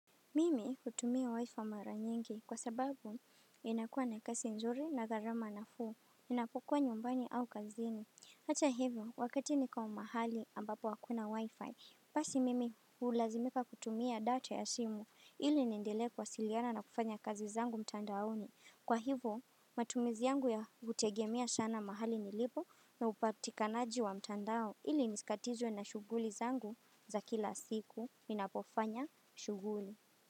Mimi hutumia wifi mara nyingi kwa sababu inakua na kasi nzuri na gharama nafuu, ninapukua nyumbani au kazini. Hata hivyo, wakati niko mahali ambapo hakuna wifi, basi mimi hulazimika kutumia data ya simu ili niendele kuwasiliana na kufanya kazi zangu mtandaoni. Kwa hivyo, matumizi yangu ya kutegemea sana mahali nilipo na upatikanaji wa mtandao ili nisikatizwe na shughuli zangu za kila siku ninapofanya shughuli.